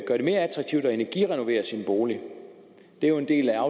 mere attraktivt at energirenovere sin bolig det er jo en del af